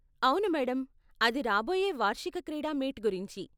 అవును మేడం, అది రాబోయే వార్షిక క్రీడా మీట్ గురించి.